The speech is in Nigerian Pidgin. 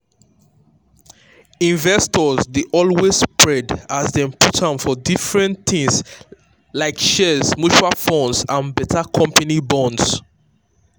investors dey always spread as dem put am for different things like shares mutual funds and better company bonds.